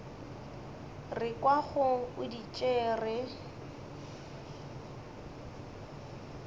re kwago o di tšere